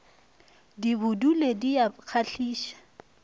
di bodule di a kgahliša